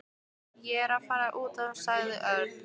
Ég er að fara út sagði Örn.